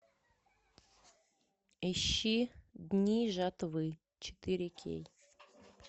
ищи дни жатвы четыре кей